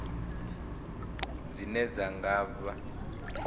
dzine dza nga vha hone